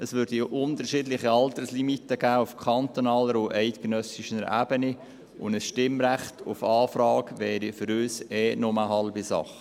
es gäbe unterschiedliche Alterslimiten auf kantonaler und eidgenössischer Ebene, und ein Stimmrecht auf Anfrage wäre für uns eh nur eine halbe Sache.